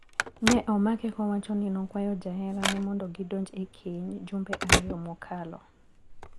Ne omake kowacho ni nokwayo jaherane mondo gidonj e keny jumbe ariyo mokalo.